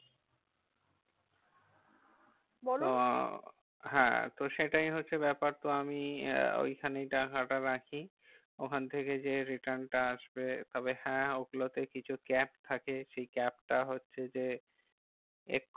আহ হ্যাঁ তো সেটাই হচ্ছে ব্যাপার। তো আমি ওখানেই টাকাটা রাখি ওখান থেকে যে, return টা আসবে তবে হ্যাঁ ওগুলোতে কে কিছু cap থাকে। সেই cap টা হচ্ছে যে, এক